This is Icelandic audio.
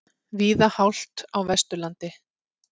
Víða hált á Vesturlandi